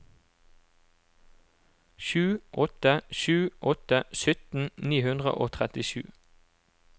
sju åtte sju åtte sytten ni hundre og trettisju